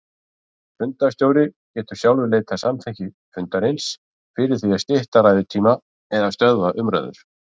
Fundarstjóri getur sjálfur leitað samþykkis fundarins fyrir því að stytta ræðutíma eða stöðva umræður.